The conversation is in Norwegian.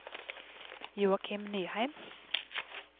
Joakim Nyheim